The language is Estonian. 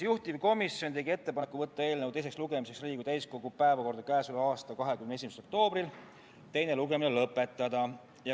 Juhtivkomisjon tegi ettepaneku võtta eelnõu teiseks lugemiseks Riigikogu täiskogu päevakorda k.a 21. oktoobrl ja teine lugemine lõpetada.